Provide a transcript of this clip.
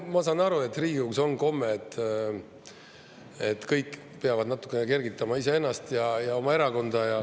Ma saan aru, et Riigikogus on komme, et kõik peavad natuke kergitama iseennast ja oma erakonda.